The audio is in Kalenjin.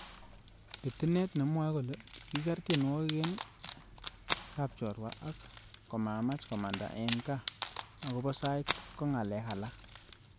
Pitinet nemwoi kole kiker tienwogik eng kapnchorwa ak komamach komanda eng kaa akobo sait kongalek alak